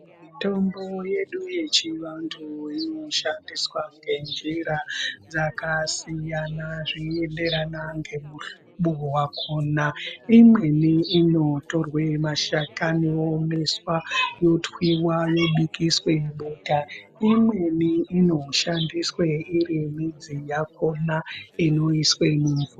Mitombo yedu yechivantu inoshandiswa ngenjira dzakasiyana zveienderana ngemuhlobo wakona. Imweni inotorwe mashakani oomeswa otwiwa yobikiswe bota. Imweni ino shandiswe iri midzi yakona inoiswe mumvu..